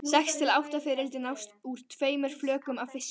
Sex til átta fiðrildi nást úr tveimur flökum af fiski.